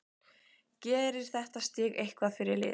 Gerir þetta stig eitthvað fyrir liðið?